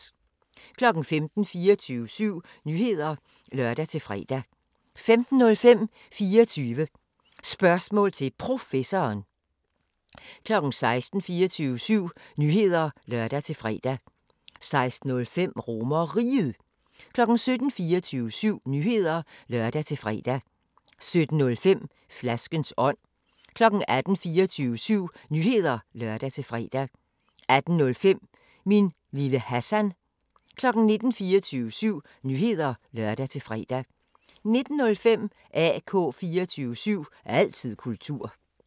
15:00: 24syv Nyheder (lør-fre) 15:05: 24 Spørgsmål til Professoren 16:00: 24syv Nyheder (lør-fre) 16:05: RomerRiget 17:00: 24syv Nyheder (lør-fre) 17:05: Flaskens ånd 18:00: 24syv Nyheder (lør-fre) 18:05: Min lille Hassan 19:00: 24syv Nyheder (lør-fre) 19:05: AK 24syv – altid kultur